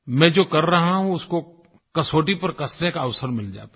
मैं जो कर रहा हूँ उसको कसौटी पर कसने का अवसर मिल जाता है